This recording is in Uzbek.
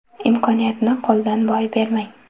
Imkoniyatni qo‘ldan boy bermang!